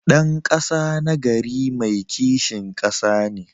Dan kasa nagari mai kishin kasa ne.